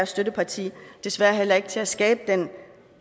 støtteparti desværre heller ikke til at skabe den